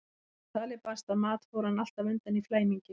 Þegar talið barst að mat fór hann alltaf undan í flæmingi.